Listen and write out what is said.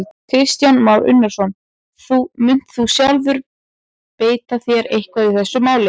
Kristján Már Unnarsson: Munt þú sjálfur beita þér eitthvað í þessu máli?